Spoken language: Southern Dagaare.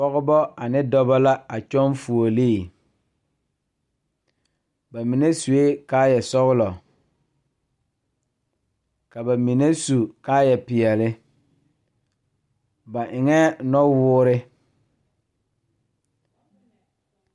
Pɔgebɔ ane dɔbɔ la a kyɔŋ fuolee ba mine suee kaayɛ sɔglɔ ka ba mine su kaayɛ peɛle ba eŋɛɛ nɔwoore.